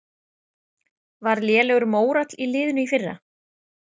Var lélegur mórall í liðinu í fyrra?